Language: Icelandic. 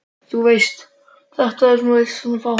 þú veist. þetta sem þú lést mig fá.